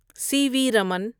سی V Raman